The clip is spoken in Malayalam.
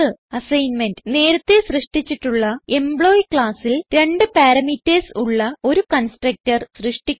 അസൈൻമെന്റ് നേരത്തേ സൃഷ്ടിച്ചിട്ടുള്ള എംപ്ലോയി classൽ രണ്ട് പാരാമീറ്റർസ് ഉള്ള ഒരു കൺസ്ട്രക്ടർ സൃഷ്ടിക്കുക